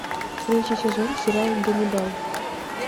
третий сезон сериал ганнибал